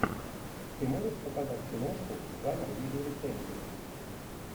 ты можешь показать киношку жанр видеорецензия